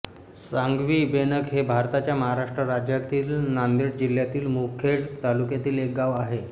सांगवीबेणक हे भारताच्या महाराष्ट्र राज्यातील नांदेड जिल्ह्यातील मुखेड तालुक्यातील एक गाव आहे